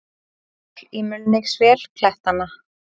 Hjól í mulningsvél klettanna.